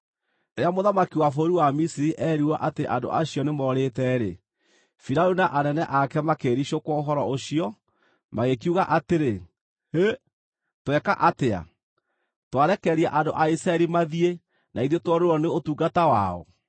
Rĩrĩa mũthamaki wa bũrũri wa Misiri eerirwo atĩ andũ acio nĩmorĩte-rĩ, Firaũni na anene ake makĩĩricũkwo ũhoro ũcio, magĩkiuga atĩrĩ, “Hĩ! Tweka atĩa? Twarekereria andũ a Isiraeli mathiĩ na ithuĩ tuorĩrwo nĩ ũtungata wao?”